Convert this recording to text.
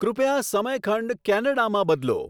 કૃપયા સમયખંડ કેનેડામાં બદલો